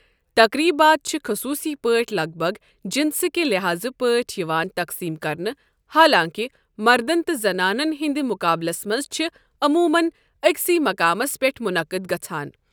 تقریٖبات چھِ خصوٗصی پٲٹھۍ لَگ بَگ جنسہٕ کہِ لحاظہٕ پٲٹھۍ یِوان تقسیم کرنہٕ، حالانٛکہ مردَن تہٕ زنانَن ہٕنٛدِ مُقابلَس منٛز چھِ عموٗمَن أکسی مقامَس پٮ۪ٹھ منعقد گژھَان۔